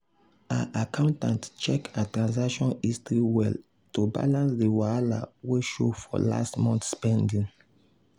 her accountant check her transaction history well to balance the wahala wey show for last month spending.